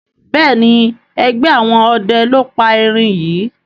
Béèni ègbé àwọn ọdẹ ló pá èrin yí.